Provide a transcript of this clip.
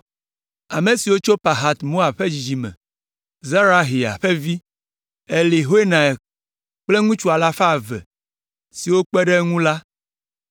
Ame siwo tso Pahat Moab ƒe dzidzime me: Zerahia ƒe vi, Eliehoenai kple ŋutsu alafa eve (200) siwo kpe ɖe eŋu la;